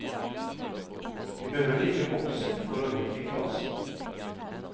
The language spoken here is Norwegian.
Vi behøver ikke vokse for å utvikle oss.